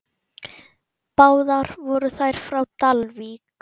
Báðar voru þær frá Dalvík.